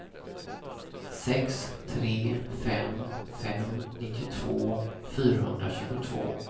sex tre fem fem nittiotvå fyrahundratjugotvå